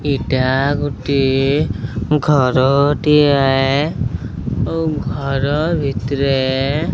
ଏଇଟା ଗୋଟିଏ ଘର ଟିଏ ଏ ଓ ଘର ଭିତ୍ରେ ।